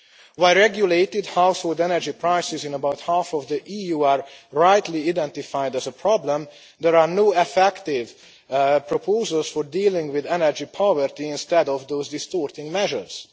While regulated household energy prices in about half of the EU are rightly identified as a problem, there are no effective proposals for dealing with energy poverty, instead of those distorting measures.